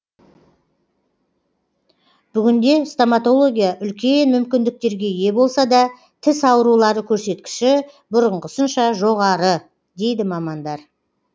бүгінде стоматология үлкен мүмкіндіктерге ие болса да тіс аурулары көрсеткіші бұрынғысынша жоғары дейді мамандар